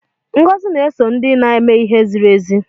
Ngọzi na-eso ndị na-eme ihe ziri ezi